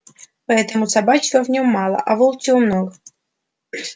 поэтому собачьего в нём мало а волчьего много